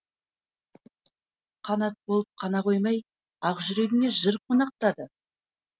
қанат болып қана қоймай ақ жүрегіңе жыр қонақтатады